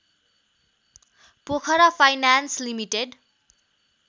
Pokhara finance limited